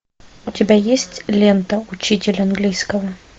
у тебя есть лента учитель английского